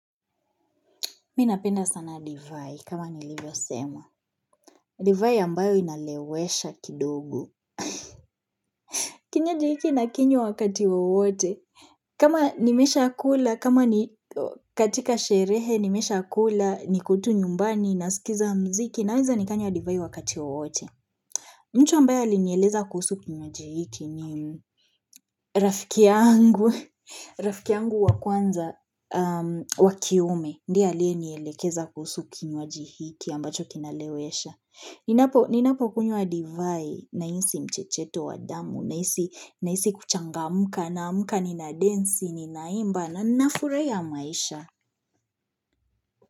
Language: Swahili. Mi napenda sana divai kama nilivyosema. Divai ambayo inalewesha kidogo. Kinywaji hiki nakinywa wakati wowote. Kama nimeshakula, kama ni katika sherehe, nimeshakula, niko tu nyumbani, nasikiza mziki, naweza nikanywa divai wakati wowote. Mtu ambaye alinieleza kuhusu kinywaji hiki ni rafiki yangu. Rafiki yangu wa kwanza wa kiume, ndiye aliyenielekeza kuhusu kinywaji hiki ambacho kinalewesha. Ninapokunywa divai, nahisi mchecheto wa damu, nahisi kuchangamuka, naamka ninadensi, ninaimba, na nafurahia maisha.